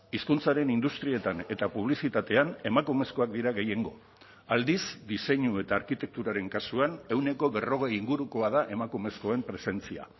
hizkuntzaren industrietan eta publizitatean emakumezkoak dira gehiengo aldiz diseinu eta arkitekturaren kasuan ehuneko berrogei ingurukoa da emakumezkoen presentzia